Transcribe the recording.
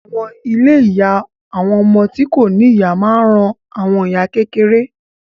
Àwọn ilé ìyá àwọn ọmọ tí kò ní ìyá máa ń ran àwọn ìyá kékeré